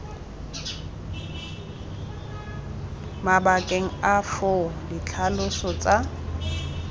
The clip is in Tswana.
mabakeng a foo ditlhaloso tsa